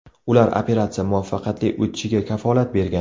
Ular operatsiya muvaffaqiyatli o‘tishiga kafolat bergan.